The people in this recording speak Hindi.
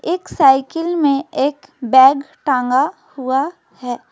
एक साइकिल में एक बैग टांगा हुआ है।